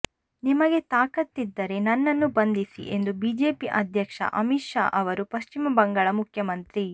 ನಿಮಗೆ ತಾಕತ್ತಿದ್ದರೆ ನನ್ನನ್ನು ಬಂಧಿಸಿ ಎಂದು ಬಿಜೆಪಿ ಅಧ್ಯಕ್ಷ ಅಮಿತ್ ಶಾ ಅವರು ಪಶ್ಚಿಮ ಬಂಗಾಳ ಮುಖ್ಯಮಂತ್ರಿ